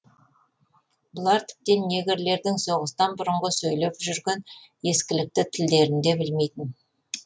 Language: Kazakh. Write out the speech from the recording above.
бұлар тіптен негрлердің соғыстан бұрынғы сөйлеп жүрген ескілікті тілдерін де білмейтін